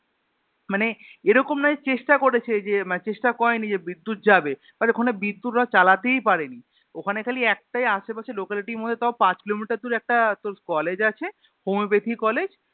মানে এরকম নয় চেষ্টা করেছে যে মানে চেষ্টা করেনি যে বিদ্যূৎ যাবে but ওখানে বিদ্যুৎ ওরা চালাতেই পারেনি ওখানে খালি একটাই আসেপাশে Locality মধ্যে তাও পাঁচ Kilometer দূরে একটা তোর college আছে Homeopathy college